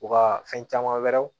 U ka fɛn caman wɛrɛw